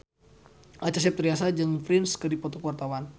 Acha Septriasa jeung Prince keur dipoto ku wartawan